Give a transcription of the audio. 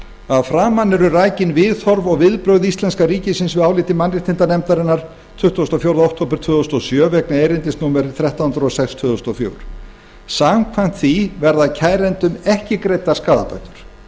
að framan eru rakin viðhorf og viðbrögð íslenska ríkisins við áliti mannréttindanefndarinnar tuttugasta og fjórða október tvö þúsund og sjö vegna erindis númer þrettán hundruð og sex tvö þúsund og fjögur samkvæmt því verða kærendum ekki greiddar skaðabætur